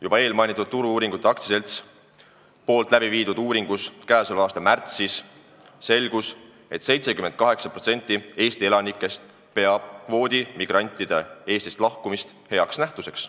Juba mainitud Turu-uuringute AS-i läbi viidud uuringus käesoleva aasta märtsis selgus, et 78% Eesti elanikest peab kvoodimigrantide Eestist lahkumist heaks nähtuseks.